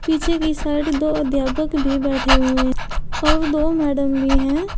पीछे की साइड दो अध्यापक भी बैठे हुए और दो मैडम भी हैं।